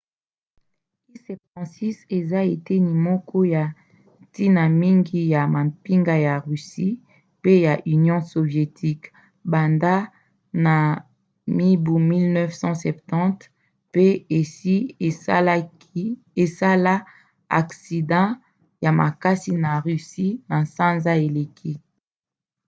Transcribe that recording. il-76 eza eteni moko ya ntina mingi ya mampinga ya russie pe ya union sovietique banda na mibu 1970 pe esi esala aksida ya maksi na russie na sanza eleki